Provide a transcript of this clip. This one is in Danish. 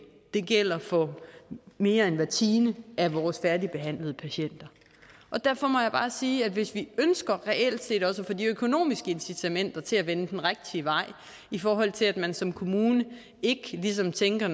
det gælder for mere end hver tiende er vores færdigbehandlede patienter derfor må jeg bare sige at hvis vi reelt set også få de økonomiske incitamenter til at vende den rigtige vej i forhold til at man som kommune ikke ligesom tænker